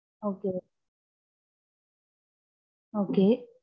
Okay okay.